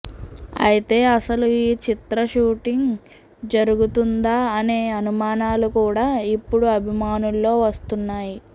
అయితే అసలు ఈ చిత్ర షూటింగ్ జరుగుతుందా అనే అనుమానాలు కూడా ఇప్పుడు అభిమానుల్లో వస్తున్నాయి